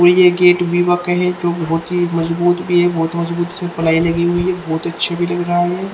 ये जे गेट भी माके है जो बहोत ही मजबूद भी है बहोत मजबूद सी पिलाई लगी हुई है बहोत अच्छी फीलिंग है ये--